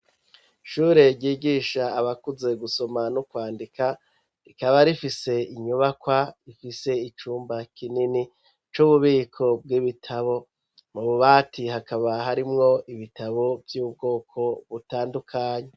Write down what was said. Ishure ryigisha abakuze gusoma no kwandika rikaba rifise inyubakwa ifise icumba kinini c'ububiko bw'ibitabo mu bubati hakaba harimwo ibitabo by'ubwoko butandukanye.